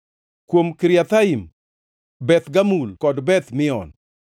kuom Kiriathaim, Beth Gamul kod Beth Mion,